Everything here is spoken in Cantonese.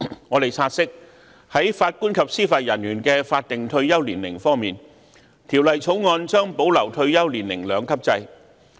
我們察悉，在法官及司法人員的法定退休年齡方面，《條例草案》將保留退休年齡兩級制。